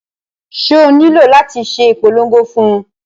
Ṣé o nílò láti ṣe ìpolongo fún un?